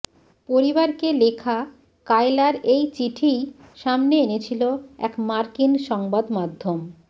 পরিবারকে লেখা কায়লার এই চিঠিই সামনে এনেছিল এক মার্কিন সংবাদমাধ্যম